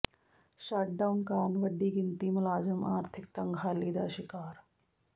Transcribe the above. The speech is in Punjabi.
ਸ਼ੱਟਡਾਊਨ ਕਾਰਨ ਵੱਡੀ ਗਿਣਤੀ ਮੁਲਾਜ਼ਮ ਆਰਥਿਕ ਤੰਗਹਾਲੀ ਦਾ ਸ਼ਿਕਾਰ